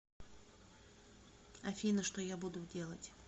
афина что я буду делать